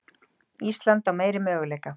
Ísland á meiri möguleika